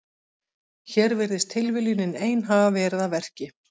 Hér virðist tilviljunin ein hafa verið að verki.